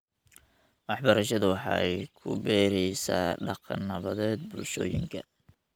Waxbarashadu waxay ku beeraysaa dhaqan nabadeed bulshooyinka .